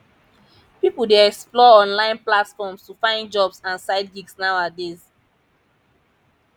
pipo dey explore online platforms to find jobs and side gigs nowadays